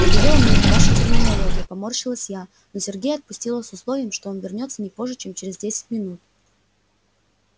надоела мне эта ваша терминология поморщилась я но сергея отпустила с условием что он вернётся не позже чем через десять минут